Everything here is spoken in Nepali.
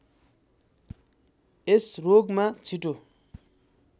यस रोगमा छिटो